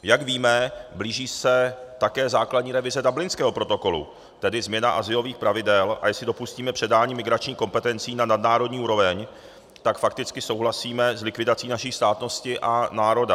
Jak víme, blíží se také základní revize Dublinského protokolu, tedy změna azylových pravidel, a jestli dopustíme předání migračních kompetencí na nadnárodní úroveň, tak fakticky souhlasíme s likvidací naší státnosti a národa.